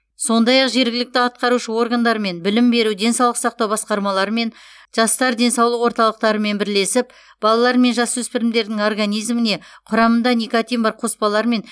сондай ақ жергілікті атқарушы органдармен білім беру денсаулық сақтау басқармаларымен жастар денсаулық орталықтарымен бірлесіп балалар мен жасөспірімдердің организміне құрамында никотин бар қоспалар мен